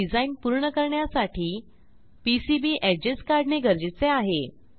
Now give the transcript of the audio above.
हे डिझाईन पूर्ण करण्यासाठी पीसीबी एजेस काढणे गरजेचे आहे